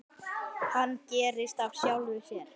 Hann gerist af sjálfu sér.